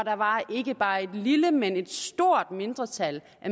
ikke bare et lille men et stort mindretal